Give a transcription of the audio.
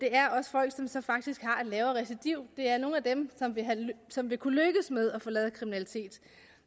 er også folk som faktisk har et lavere recidiv det er nogle af dem som vil kunne lykkes med at forlade kriminalitet